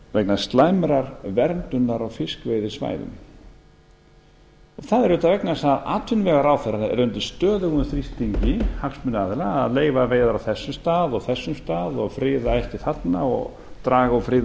vegna slæmrar verndunar á fiskveiðisvæðum það er auðvitað vegna þess að atvinnuvegaráðherra er undir stöðugum þrýstingi hagsmunaaðila að leyfa veiðar á þessum stað og þessum stað og friða ætti þarna og draga úr friðun